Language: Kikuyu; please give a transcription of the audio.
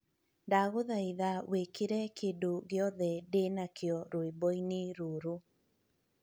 Ndagũthaitha wĩkĩre kĩndũ gĩothe ndĩnakĩo rwĩmboinĩ rũrũ